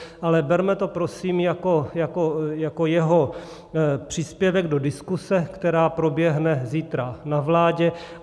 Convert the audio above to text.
Ale berme to prosím jako jeho příspěvek do diskuse, která proběhne zítra na vládě.